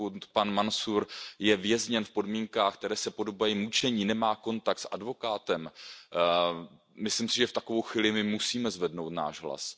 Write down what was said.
Pokud pan Mansúr je vězněn v podmínkách, které se podobají mučení, nemá kontakt s advokátem, myslím si, že v takovou chvíli my musíme zvednout náš hlas.